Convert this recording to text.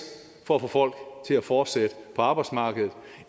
for at få folk til at fortsætte på arbejdsmarkedet